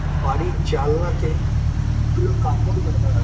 বাড়ির জালনাতে ওগুলো কাপড় মেলা আ-